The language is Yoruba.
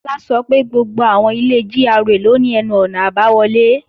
Bọ́lá sọ pé gbogbo àwọn ilé GRA ló ní ẹnu-ọ̀nà àbáwọlé